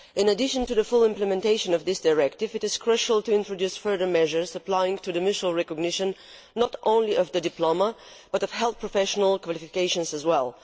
In addition to the full implementation of this directive, it is crucial to introduce further measures applying to mutual recognition, not only of diplomas, but of health professionals' qualifications as well.